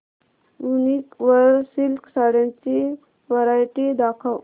वूनिक वर सिल्क साड्यांची वरायटी दाखव